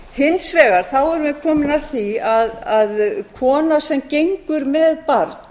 hins vegar erum við þá komin að því að kona sem gengur með barn